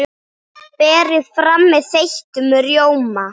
Berið fram með þeyttum rjóma.